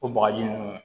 O bagaji nunnu